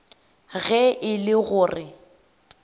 ge e le go re